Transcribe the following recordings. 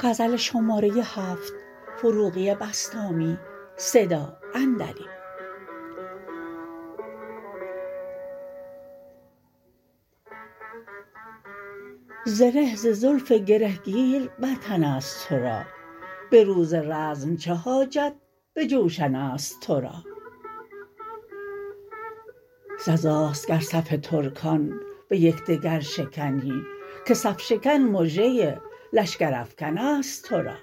زره ز زلف گره گیر بر تن است تو را به روز رزم چه حاجت به جوشن است تو را سزاست گر صف ترکان به یکدگر شکنی که صف شکن مژه لشگر افکن است تو را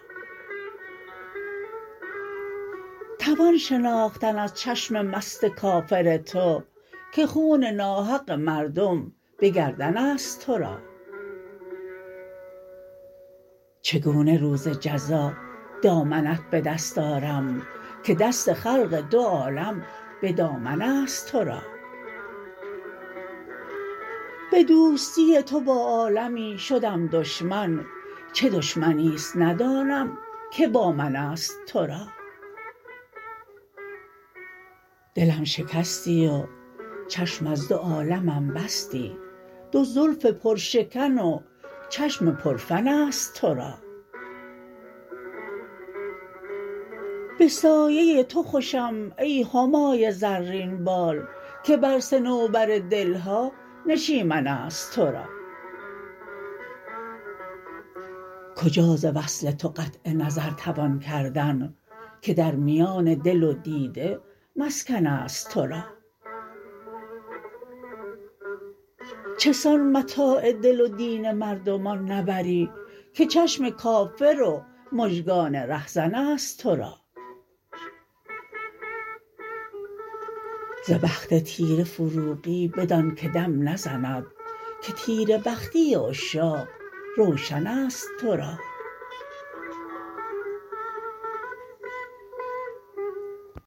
توان شناختن از چشم مست کافر تو که خون ناحق مردم به گردن است تو را چگونه روز جزا دامنت به دست آرم که دست خلق دو عالم به دامن است تو را به دوستی تو با عالمی شدم دشمن چه دشمنی است ندانم که با من است تو را دلم شکستی و چشم از دو عالمم بستی دو زلف پرشکن و چشم پر فن است تو را به سایه تو خوشم ای همای زرین بال که بر صنوبر دلها نشیمن است تو را کجا ز وصل تو قطع نظر توان کردن که در میان دل و دیده مسکن است تو را چسان متاع دل و دین مردمان نبری که چشم کافر و مژگان رهزن است تو را ز بخت تیره فروغی بدان که دم نزند که تیره بختی عشاق روشن است تو را